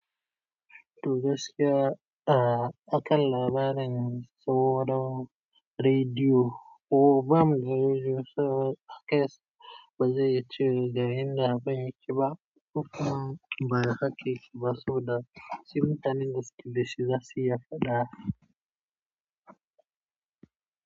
Toh gaskiya ah akalla bana tsoro rediyo ko bam za su zo a case ba, zai ci ga yanda ba yake ba. Koh kuma ba haka yake bah sai mutaneh da suke da shi za su iya faɗa.